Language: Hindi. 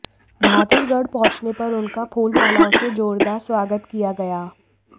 बहादुरगढ़ पहुंचने पर उनका फूलमालाओं से जोरदार स्वागत किया गया